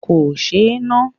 Kò sé e ná.